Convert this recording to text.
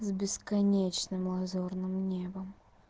с бесконечным лазурным небом